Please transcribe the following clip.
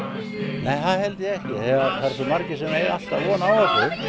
nei það eru svo margir sem eiga von á